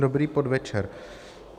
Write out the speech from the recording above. Dobrý podvečer.